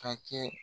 Ka kɛ